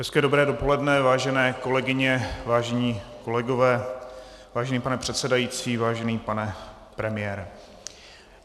Hezké dobré dopoledne, vážené kolegyně, vážení kolegové, vážený pane předsedající, vážený pane premiére.